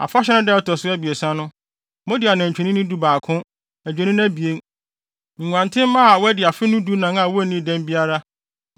“ ‘Afahyɛ no da a ɛto so abiɛsa no, mode anantwinini dubaako, adwennini abien, nguantenmma a wɔadi afe no dunan a wonnii dɛm biara;